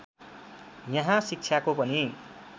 यहाँ शिक्षाको पनि